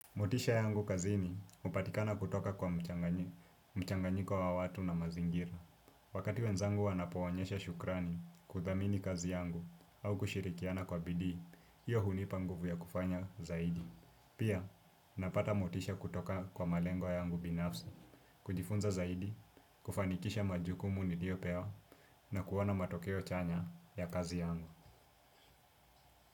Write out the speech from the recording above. Motisha yangu kazini hupatikana kutoka kwa mchanganyiko wa watu na mazingira. Wakati wenzangu wanapoonyesha shukrani kuthamini kazi yangu au kushirikiana kwa bidii, hiyo hunipa nguvu ya kufanya zaidi. Pia napata motisha kutoka kwa malengo yangu binafsi, kujifunza zaidi, kufanikisha majukumu niliyopewa na kuona matokeo chanya ya kazi yangu.